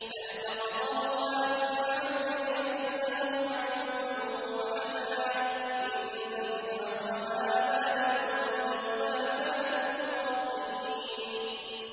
فَالْتَقَطَهُ آلُ فِرْعَوْنَ لِيَكُونَ لَهُمْ عَدُوًّا وَحَزَنًا ۗ إِنَّ فِرْعَوْنَ وَهَامَانَ وَجُنُودَهُمَا كَانُوا خَاطِئِينَ